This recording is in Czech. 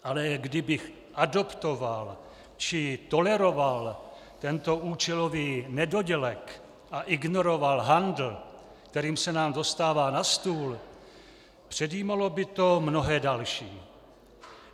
Ale kdybych adoptoval či toleroval tento účelový nedodělek a ignoroval handl, kterým se nám dostává na stůl, předjímalo by to mnohé další.